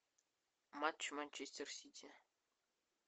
матч манчестер сити